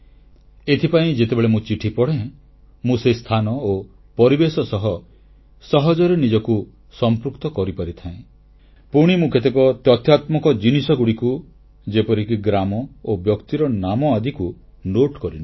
ଏଥିପାଇଁ ଯେତେବେଳେ ମୁଁ ଚିଠି ପଢ଼େ ମୁଁ ସେ ସ୍ଥାନ ଓ ପରିବେଶ ସହ ସହଜରେ ନିଜକୁ ସମ୍ପୃକ୍ତ କରିପାରିଥାଏ ପୁଣି ମୁଁ କେତେକ ତଥ୍ୟଭିତ୍ତିକ ପ୍ରସଙ୍ଗକୁ ଯେପରିକି ଗ୍ରାମ ଓ ବ୍ୟକ୍ତିର ନାମ ଆଦିକୁ ଟିପି ରଖେ